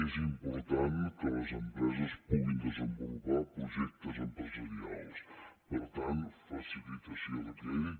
és important que les empreses puguin desenvolupar projectes empresarials per tant facilitació de crèdit